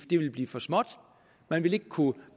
ville blive for småt vi ville ikke kunne